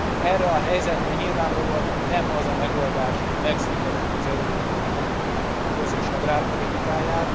Erre a helyzetre nyilvánvalóan nem az a megoldás, hogy megszüntetjük az Európai Unió közös agrárpolitikáját.